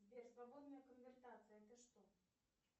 сбер свободная конвертация это что